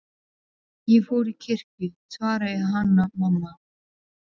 Ég fór í kirkju, svaraði Hanna-Mamma.